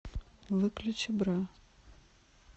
выключи бра